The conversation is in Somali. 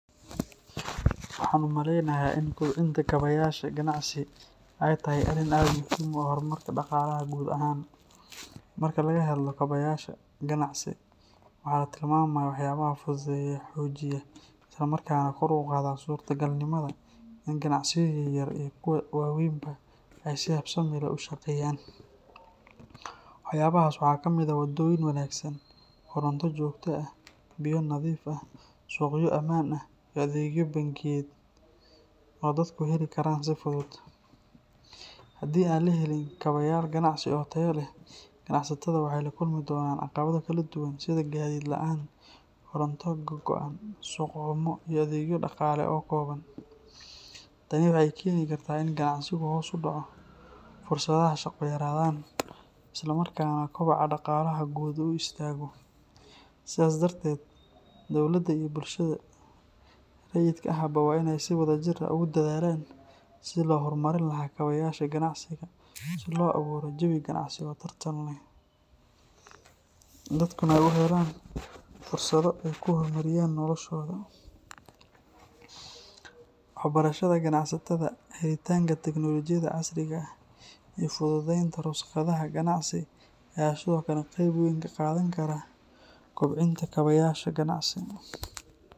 Waxaan u maleynayaa in kobcinta kaabayaasha ganacsi ay tahay arrin aad muhiim u ah horumarka dhaqaalaha guud ahaan. Marka laga hadlo kaabayaasha ganacsi, waxaa la tilmaamayaa waxyaabaha fududeeya, xoojiya, isla markaana kor u qaada suurtagalnimada in ganacsiyo yaryar iyo kuwo waaweynba ay si habsami leh u shaqeeyaan. Waxyaabahaas waxaa kamid ah waddooyin wanaagsan, koronto joogto ah, biyo nadiif ah, suuqyo ammaan ah, iyo adeegyo bangiyeed oo dadku heli karaan si fudud. Haddii aan la helin kaabayaal ganacsi oo tayo leh, ganacsatada waxay la kulmi doonaan caqabado kala duwan sida gaadiid la’aan, koronto go’go’an, suuq xumo, iyo adeegyo dhaqaale oo kooban. Tani waxay keeni kartaa in ganacsigu hoos u dhaco, fursadaha shaqo yaraadaan, isla markaana kobaca dhaqaalaha guud uu istaago. Sidaas darteed, dowladda iyo bulshada rayidka ahba waa in ay si wadajir ah ugu dadaalaan sidii loo horumarin lahaa kaabayaasha ganacsiga, si loo abuuro jawi ganacsi oo tartan leh, dadkuna ay u helaan fursado ay ku horumariyaan noloshooda. Waxbarashada ganacsatada, helitaanka teknoolojiyada casriga ah, iyo fududeynta rukhsadaha ganacsi ayaa sidoo kale qayb weyn ka qaadan kara kobcinta kaabayaasha ganacsi.